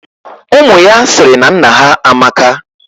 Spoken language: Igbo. Umu ya siri na nna ha amaka.